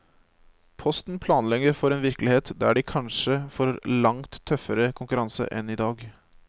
Posten planlegger for en virkelighet der de kanskje får langt tøffere konkurranse enn i dag.